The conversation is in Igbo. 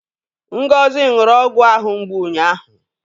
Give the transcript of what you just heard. Ngozi ṅụrụ ọgwụ ahụ mgbu ụnyaahụ